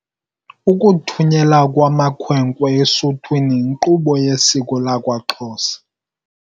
Ukuthunyelwa kwamakhwenkwe esuthwini yinkqubo yesiko lakwaXhosa.